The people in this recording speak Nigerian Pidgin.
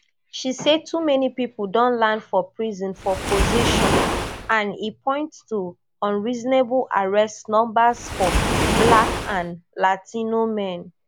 she say too many pipo don land for prison for possession and e point to unreasonable arrest numbers for black and latino men